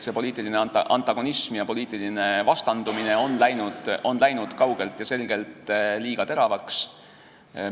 Poliitiline antagonism ja poliitiline vastandumine on läinud kaugelt ja selgelt liiga teravaks.